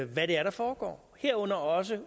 hvad der foregår herunder også